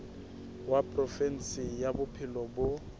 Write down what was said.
wa provinse ya bophelo bo